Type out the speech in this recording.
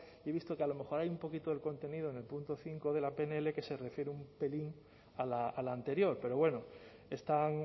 y he visto que a lo mejor ahí un poquito el contenido en el punto cinco de la pnl que se refiere un pelín a la anterior pero bueno están